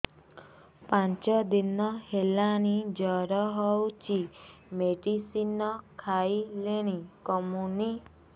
ପାଞ୍ଚ ଦିନ ହେଲାଣି ଜର ହଉଚି ମେଡିସିନ ଖାଇଲିଣି କମୁନି